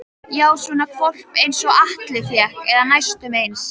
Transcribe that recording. Já, svona hvolp einsog Alli fékk, eða næstum eins.